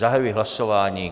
Zahajuji hlasování.